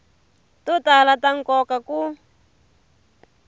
to tala ta nkoka ku